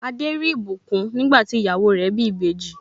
Adé rí ìbùkún nígbà tí ìyàwó rẹ̀ bí ìbejì.